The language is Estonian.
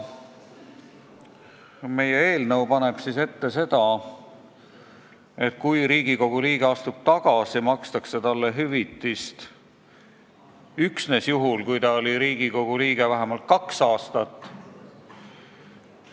Meie eelnõu paneb ette, et kui Riigikogu liige astub tagasi, makstakse talle hüvitist üksnes juhul, kui ta oli Riigikogu liige vähemalt kaks aastat.